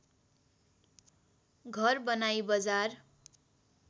घर बनाई बजार